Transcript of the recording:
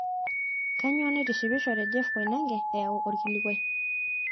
kanyoo naitishipisho te jeff koinange eyau olkilikuai